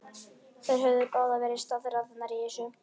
Þær höfðu báðar verið staðráðnar í þessu.